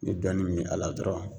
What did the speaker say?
I ye dɔɔnin min a la dɔrɔn